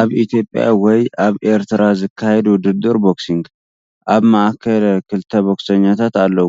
ኣብ ኢትዮጵያ ወይ ኣብ ኤርትራ ዝካየድ ውድድር ቦክሲንግ። ኣብ ማእከል ክልተ ቦክሰኛታት ኣለዉ።